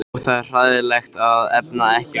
Og það er hræðilegt að efna ekki loforð.